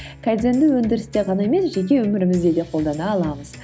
кайдзенді өндірісте ғана емес жеке өмірімізде де қолдана аламыз